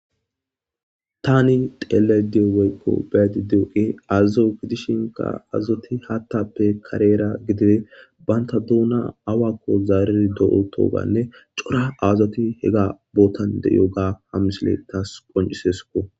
tani xellayide woykko be7ade dizayi azota gidishinka azoti hathappe karera gidide banta duuna awakko zaaridi diyoganne cora azati hega bootan diyoga ha misiley taas qoncisesikko